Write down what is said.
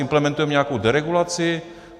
Implementujeme nějakou deregulaci?